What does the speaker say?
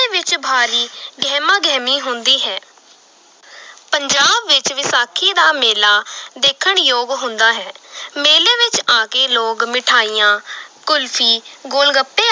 ਵਿੱਚ ਭਾਰੀ ਗਹਿਮਾ ਗਹਿਮੀ ਹੁੰਦੀ ਹੈ ਪੰਜਾਬ ਵਿੱਚ ਵਿਸਾਖੀ ਦਾ ਮੇਲਾ ਦੇਖਣ ਯੋਗ ਹੁੰਦਾ ਹੈ ਮੇਲੇ ਵਿੱਚ ਆ ਕੇ ਲੋਕ ਮਠਿਆਈਆਂ ਕੁਲਫ਼ੀ ਗੋਲਗੱਪੇ